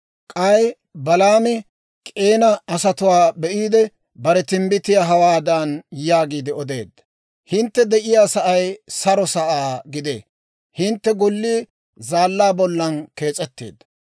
K'ay Balaami K'eena asatuwaa be'iide, bare timbbitiyaa hawaadan yaagiide odeedda; «Hintte de'iyaa sa'ay saro saa gidee; hintte gollii zaallaa bollan kees'etteedda.